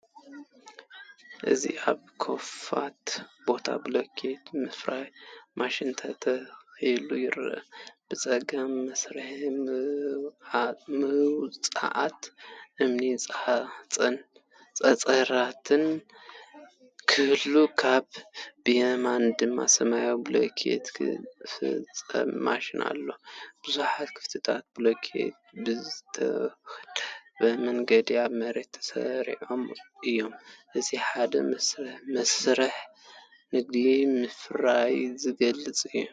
እዚ ኣብ ክፉት ቦታ ብሎክ ምፍራይ ማሽን ተተኺሉ ይርአ። ብጸጋም መስመር ምውጻእ እምኒ-ሓጺን ክህሉ ከሎ ብየማን ድማ ሰማያዊ ብሎክ ዝጭፍልቕ ማሽን ኣሎ። ብዙሓት ክፍልታት ብሎክ ብዝተወደበ መንገዲ ኣብ መሬት ተሰሪዖምን እዮም። እዚ ንሓደ መስርሕ ንግድን ምፍራይን ዝገልጽ እዩ።